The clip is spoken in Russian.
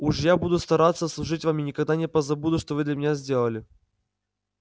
уж я буду стараться служить вам и никогда не позабуду что вы для меня сделали